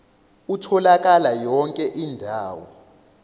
utholakala yonke indawo